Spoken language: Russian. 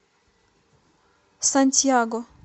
сантьяго